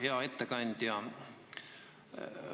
Hea ettekandja!